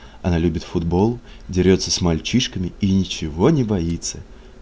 она любит футбол дерётся с мальчишками и ничего не боится